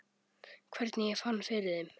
Hvernig ég fann fyrir þeim?